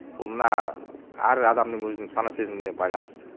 бұл мына әр адамның өзінің сана сезіміне байланысты